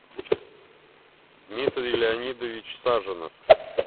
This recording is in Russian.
дмитрий леонидович саженов